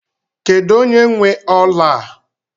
Kedụ onye nwe ọla a?